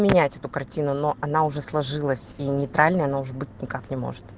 поменять эту картину но она уже сложилась и нейтральной она уже быть никак не может